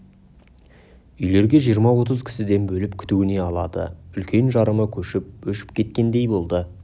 үйлерге жиырма отыз кісіден бөліп күтуіне алады үлкен жарымы көшіп өшіп кеткендей болды